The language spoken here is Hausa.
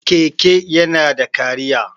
Keke yana da cariya.